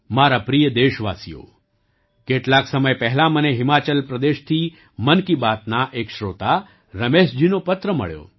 મારા પ્રિય દેશવાસીઓ કેટલાક સમય પહેલાં મને હિમાચલ પ્રદેશથી મન કી બાતના એક શ્રોતા રમેશજીનો પત્ર મળ્યો